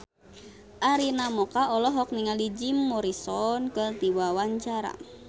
Arina Mocca olohok ningali Jim Morrison keur diwawancara